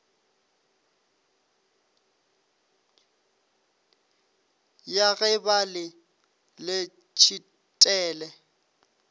ya ge ba le letshitele